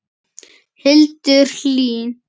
Hildur Hlín.